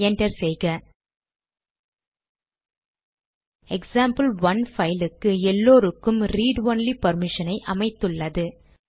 enter செய்க example one பைலுக்கு எல்லாருக்கும் ரீட் ஒன்லி பர்மிஷனை அமைத்துள்ளது